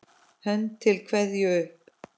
Hönd til kveðju upp!